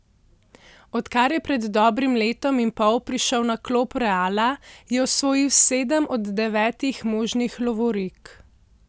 Odkar je pred dobrim letom in pol prišel na klop Reala, je osvojil sedem od devetih možnih lovorik.